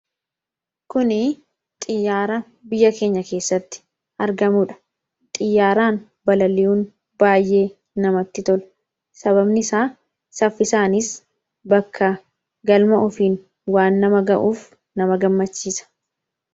kuni xiyyaara biyya keenya keessatti argamuudha xiyyaaraan balali'uun baay'ee namatti tola sababni isaa saffisaanis bakka galma ofiin waan nama ga'uuf nama gammachiisa